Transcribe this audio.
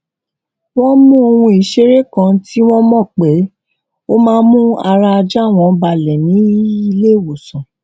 wón mú ohun ìṣeré kan tí wón mò pé ó máa ń mú ara ajá wọn balẹ ní ilé ìwòsàn